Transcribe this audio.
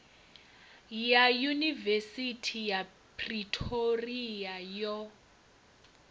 ya yunivesithi ya pretoria yo